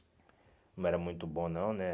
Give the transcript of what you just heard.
Não era muito bom, não, né?